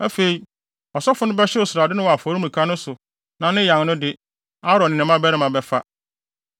Afei, ɔsɔfo no bɛhyew srade no wɔ afɔremuka no so na ne yan no de, Aaron ne ne mmabarima bɛfa.